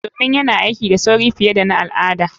Domin yana aiki da sauri fiye da na al'ada.